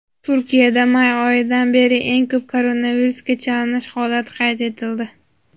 Turkiyada may oyidan beri eng ko‘p koronavirusga chalinish holati qayd etildi.